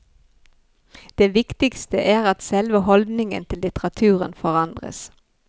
Det viktigste er at selve holdningen til litteraturen forandres.